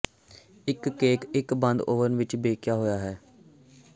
ਇੱਕ ਕੇਕ ਇੱਕ ਬੰਦ ਓਵਨ ਵਿੱਚ ਬੇਕਿਆ ਹੋਇਆ ਹੈ